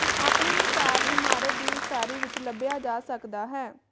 ਆਪਣੇ ਮਿਸਾਲ ਇਮਾਰਤ ਦੀ ਉਸਾਰੀ ਵਿੱਚ ਲੱਭਿਆ ਜਾ ਸਕਦਾ ਹੈ